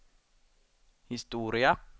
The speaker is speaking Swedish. historia